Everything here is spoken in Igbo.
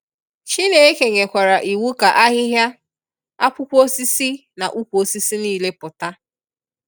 Chineke nyekwara iwu ka ahịhịa, akwụkwọ osisi na ukwu osisi nile pụta.